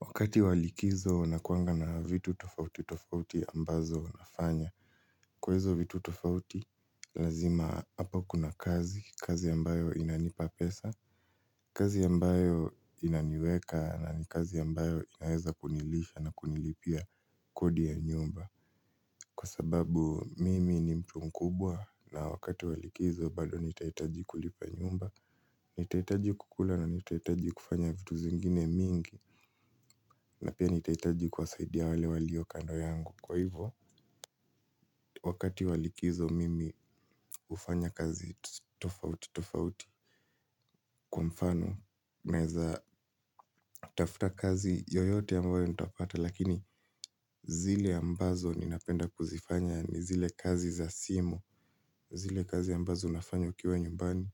Wakati wa likizo nakuanga na vitu tofauti tofauti ambazo nafanya. Kwa izo vitu tofauti, lazima hapa kuna kazi, kazi ambayo inanipa pesa, kazi ambayo inaniweka na ni kazi ambayo inaweza kunilisha na kunilipia kodi ya nyumba. Kwa sababu mimi ni mtu mkubwa na wakati wa likizo bado nitahitaji kulipa nyumba, nitahitaji kukula na nitahitaji kufanya vitu zingine mingi. Na pia nitahitaji kuwasaidia wale walio kando yangu. Kwa hivo, wakati wa likizo mimi hufanya kazi tofauti tofauti. Kwa mfano, naeza tafuta kazi yoyote ambayo nitapata. Lakini zile ambazo ninapenda kuzifanya ni zile kazi za simu. Zile kazi ambazo unafanya ukiwa nyumbani.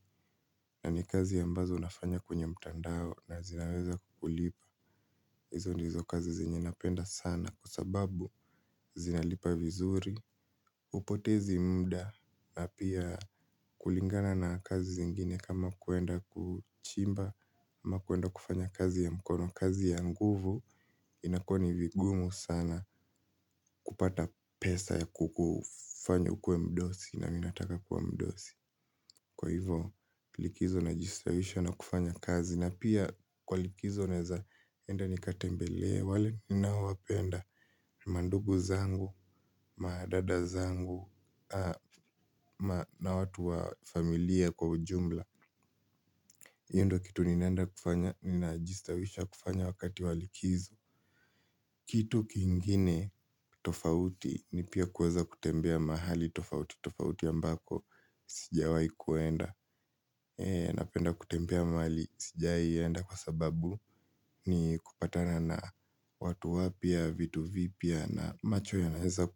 Na ni kazi ambazo nafanya kwenye mtandao. Na zinaweza kukulipa. Izo ndizo kazi zenye napenda sana. Kwa sababu zinalipa vizuri hupotezi mda na pia kulingana na kazi zingine kama kuenda kuchimba ama kuenda kufanya kazi ya mkono kazi ya nguvu. Inakuwa ni vigumu sana kupata pesa ya kukufanya ukuwe mdosi na mi nataka kuwa mdosi. Kwa hivo likizo najistawisha na kufanya kazi. Na pia kwa likizo naezaenda nikatembelea wale ninaowapenda mandugu zangu, madada zangu, na watu wa familia kwa ujumla hio ndio kitu ninaenda kufanya, ninajistawisha kufanya wakati wa likizo. Kitu kingine tofauti ni pia kuweza kutembea mahali tofauti tofauti ambako sijawai kuenda. Napenda kutembea mahali sijawai enda kwa sababu ni kupatana na watu wapya, vitu vipya. Na macho yanaeza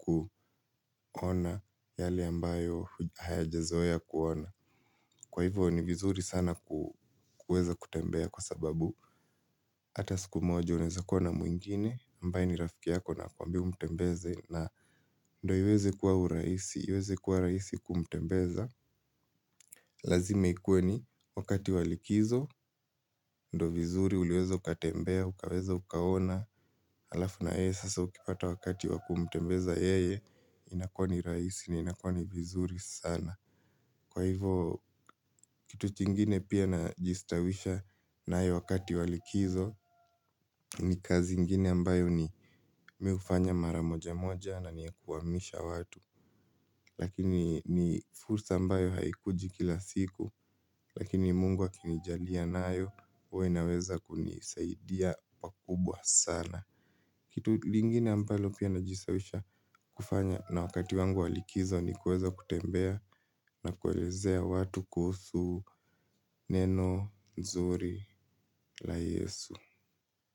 kuona yale ambayo hayajazoea kuona. Kwa hivyo ni vizuri sana kuweza kutembea kwa sababu hata siku moja unaeza kuwa na mwingine ambaye ni rafiki yako na akuambie umtembeze. Na ndio iweze kuwa uraisi, iweze kuwa rahisi kumtembeza. Lazime ikuwe ni wakati wa likizo. Ndio vizuri uliweza ukatembea, ukaweza ukaona. Alafu na yeye sasa ukipata wakati wa kumtembeza yeye. Inakuwa ni rahisi na, inakuwa ni vizuri sana. Kwa hivo, kitu chingine pia najistawisha nayo wakati wa likizo. Ni kazi ingine ambayo ni mi hufanya mara moja moja na ni ya kuhamisha watu. Lakini ni fursa ambayo haikuji kila siku. Lakini mungu akinijalia nayo huwa inaweza kunisaidia pakubwa sana. Kitu lingine ambalo pia najistawisha kufanya. Na wakati wangu wa likizo ni kuweza kutembea na kuelezea watu kuhusu neno nzuri la yesu.